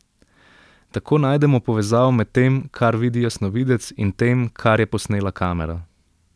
Tako najdemo povezavo med tem, kar vidi jasnovidec, in tem, kar je posnela kamera.